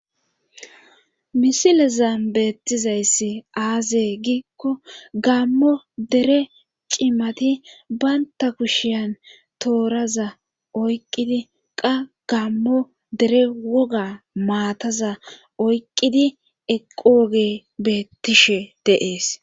Misilezan beettizayssi aazee giikko gammo dere cimati baynta kushiyan tooraza oyqqidi qa gammo dere woga maataza oyqqidi eqo woge beettishe dees.